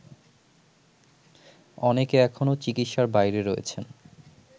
অনেকে এখনো চিকিৎসার বাইরে রয়েছেন